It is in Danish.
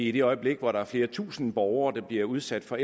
i det øjeblik hvor der er flere tusinde borgere der bliver udsat for